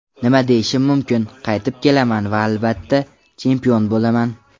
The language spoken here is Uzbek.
Nima deyishim mumkin: Qaytib kelaman va albatta, chempion bo‘laman.